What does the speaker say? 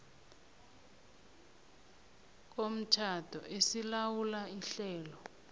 komtjhado esilawula ihlelo